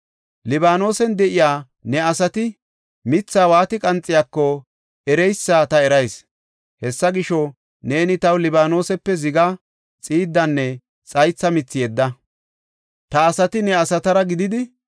Libaanosen de7iya ne asati mithaa waati qanxiyaako ereysa ta erayis. Hessa gisho, neeni taw Libaanosepe zigaa, xiiddanne xaytha mithi yedda. Ta asati ne asatara gididi,